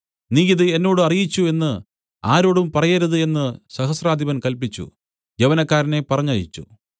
നീ ഇത് എന്നോട് അറിയിച്ചു എന്ന് ആരോടും പറയരുത് എന്നു സഹസ്രാധിപൻ കല്പിച്ചു യൗവനക്കാരനെ പറഞ്ഞയച്ചു